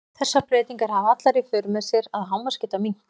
þessar breytingar hafa allar í för með sér að hámarksgeta minnkar